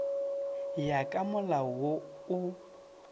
ya ka molao wo o